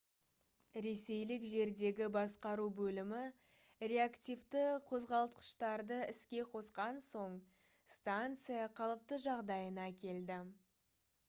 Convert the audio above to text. ресейлік жердегі басқару бөлімі реактивті қозғалтқыштарды іске қосқан соң станция қалыпты жағдайына келді